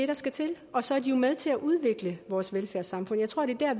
der skal til og så er de jo med til at udvikle vores velfærdssamfund jeg tror at det er